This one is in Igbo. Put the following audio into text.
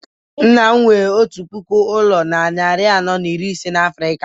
nna m nwere otu puku ụlọ na narị anọ na iri ise na Africa